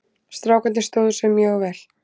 Strákarnir stóðu sig mjög vel.